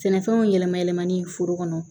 Sɛnɛfɛnw yɛlɛma yɛlɛmali foro kɔnɔ